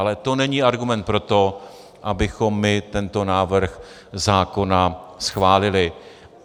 Ale to není argument pro to, abychom my tento návrh zákona schválili.